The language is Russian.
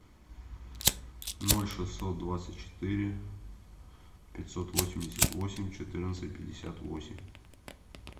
ноль шестьсот двадцать четыре пятьсот восемьдесят восемь четырнадцать пятьдесят восемь